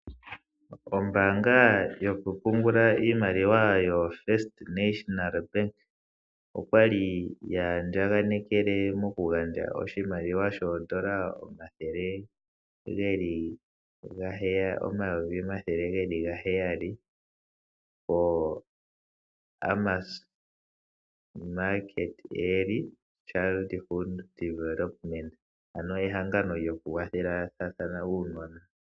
Ombaanga yoku pungula iimaliwa yoFirst National Bank okwa li ya andjaganekele oku gandja oshimaliwa shoondola omayovi omathele geli gaheyali ko Amos Meerkat Eary Childhood Development, ehangano lyoku kwathela uunona.